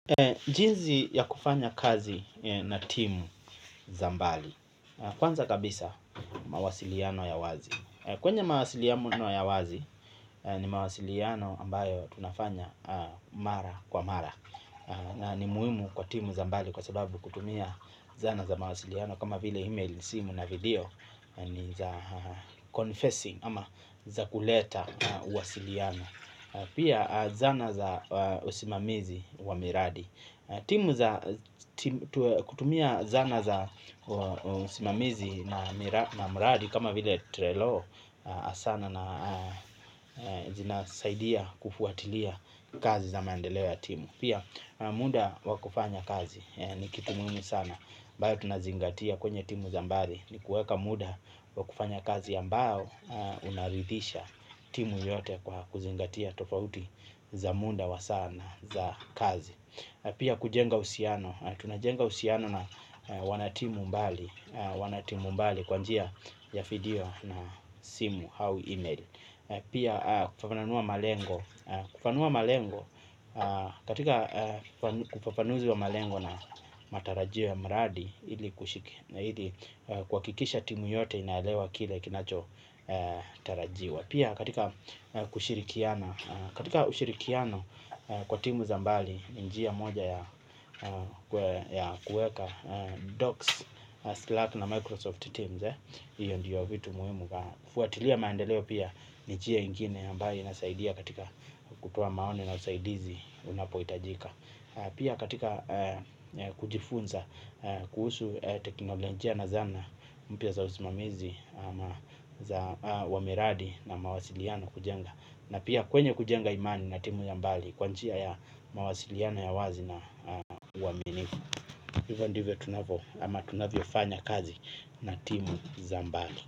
Jinsi ya kufanya kazi na timu za mbali kwanza kabisa mawasiliano ya wazi. Kwenye mawasiliano ya wazi ni mawasiliano ambayo tunafanya mara kwa mara. Ni muhimu kwa timu za mbali kwa sababu kutumia zana za mawasiliano kama vile email, simu na video ni za confrencing ama za kuleta wasiliano. Pia zana za usimamizi wa miradi. Timu za kutumia zana za usimamizi na mradi kama vile trelo asana na zina saidia kufuatilia kazi za mandeleo ya timu. Pia muda wa kufanya kazi ni kitu muhimu sana ambayo tunazingatia kwenye timu za mbali ni kuweka muda wa kufanya kazi ambao unaridhisha timu yote kwa kuzingatia tofauti za muda wa saa na za kazi pia kujenga uhusiano tunajenga uhusiani na wana timu mbali kwa njia ya video na simu au email pia kufafanua malengo katika ufafanuzi wa malengo na matarajio ya mradi, ili kushike, na ili kuhakikisha timu yote inaelewa kile kinacho tarajiwa. Pia katika kushirikiana, katika ushirikiano kwa timu za mbali, njia moja ya kuweka Docs, Slat na Microsoft Teams. Hiyo ndiyo vitu muhimu. Fuatilia maendeleo pia ni njia ingine ambayo inasaidia katika kutoa maoni na usaidizi unapohitajika. Pia katika kujifunza kuhusu teknolojia na zana mpya za usimamizi za wameradi na mawasiliano kujenga na pia kwenye kujenga imani na timu ya mbali kwanjia ya mawasiliana ya wazi na uwaminiku. Hivandive tunavyo ama tunavyo fanya kazi na timu za mbali.